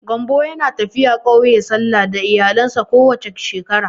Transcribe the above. Gambo yana tafiya ƙauye sallah da iyalinsa ko wace shekara.